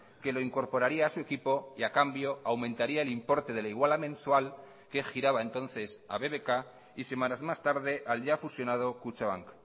que lo incorporaría a su equipo y a cambio aumentaría el importe de la iguala mensual que giraba entonces a bbk y semanas más tarde al ya fusionado kutxabank